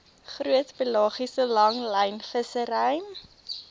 groot pelagiese langlynvissery